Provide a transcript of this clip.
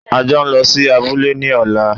A jọ ń lọ sí abúlé ní ọ̀la!